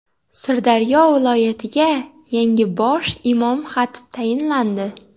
Sirdaryo viloyatiga yangi bosh imom-xatib tayinlandi.